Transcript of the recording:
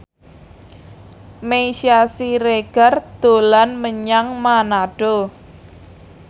Meisya Siregar dolan menyang Manado